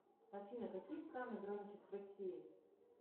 афина какие страны граничат с россией